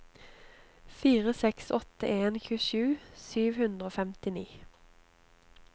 fire seks åtte en tjuesju sju hundre og femtini